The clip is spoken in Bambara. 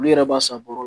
Olu yɛrɛ b'a san bɔrɔ